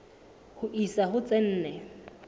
ho isa ho tse nne